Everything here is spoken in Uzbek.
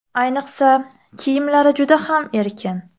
Ayniqsa kiyimlari juda ham erkin.